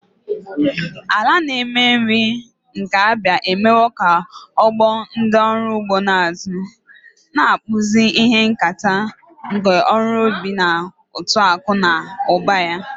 Ala na-eme nri nke Abia emewo ka ọgbọ ndị ọrụ ugbo na-azụ, na-akpụzi ihe nketa ọrụ ubi na uto akụ na ụba ya.